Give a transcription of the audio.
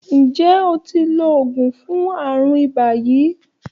Ǹjẹ́ o ti lo oògùn fún àrùn ibà yìí?